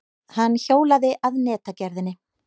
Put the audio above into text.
Hann hjólaði að netagerðinni.